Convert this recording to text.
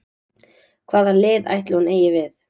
Hvað lið ætli hún eigi við?